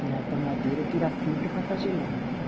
Tirado da madeira, tira a fibra para fazer linho, né?